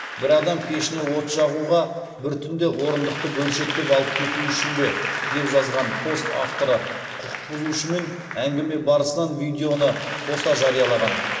бір адам пешіне от жағуға бір түнде орындықты бөлшектеп алып кету үшін бе деп жазған пост авторы құқық бұзушымен әңгіме барысынан видеоны қоса жариялаған